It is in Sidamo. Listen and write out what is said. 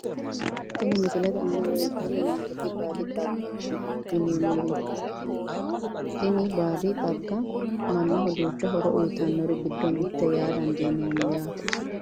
Tini misilete aana leelitani noonketi baadi xagaati yineemori tini baadi xagga manaho duucha horo uyitawori giddo mitete yaa dandiinemo yaate.